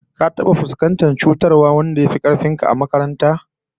Ka taba fuskantar cutarwar wanda yafi ka karfi a makaranta?